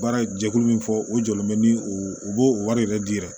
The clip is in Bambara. Baara ye jɛkulu min fɔ o jɔlen bɛ ni u b'o o wari yɛrɛ di yɛrɛ